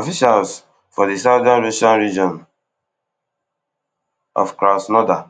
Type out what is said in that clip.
officials for di southern russian region of krasnodar